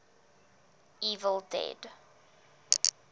evil dead